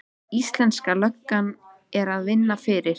Íslenska löggan er að vinna fyrir